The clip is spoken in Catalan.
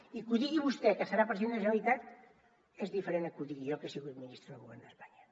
i que ho digui vostè que serà president de la generalitat és diferent que ho digui jo que he sigut ministre del govern d’espanya